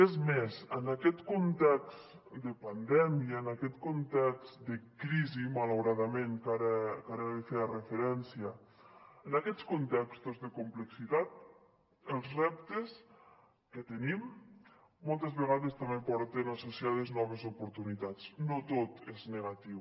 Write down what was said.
és més en aquest context de pandèmia en aquest context de crisi malauradament que ara hi feia referència en aquests contextos de complexitat els reptes que tenim moltes vegades també porten associats noves oportunitats no tot és negatiu